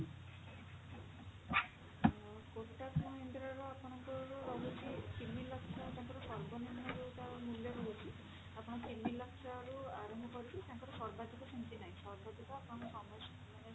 ଅ kotak mahindra ର ଆପଣଙ୍କର ରହୁଛି ତିନି ଲକ୍ଷ ତାଙ୍କର ସର୍ବନିମ୍ନ ଯଉଟା ର ମୂଲ୍ୟ ରହୁଛି ଆପଣ ତିନି ଲକ୍ଷରୁ ଆରମ୍ଭ କରିକି ତାଙ୍କର ସର୍ବାଧିକ ସେମିତି ନାହିଁ ସର୍ବାଧିକ ମାନେ